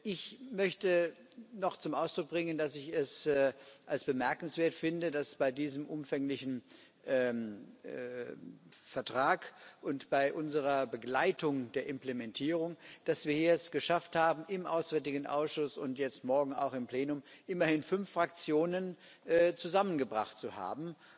Ich möchte noch zum Ausdruck bringen, dass ich es bemerkenswert finde, dass wir es bei diesem umfänglichen Vertrag und bei unserer Begleitung der Implementierung geschafft haben, im Auswärtigen Ausschuss und morgen auch im Plenum immerhin fünf Fraktionen zusammengebracht zu haben.